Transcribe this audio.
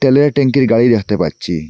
তেলের ট্যাংকির গাড়ি দেখতে পাচ্ছি।